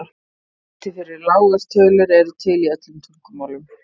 heiti fyrir lágar tölur eru til í öllum tungumálum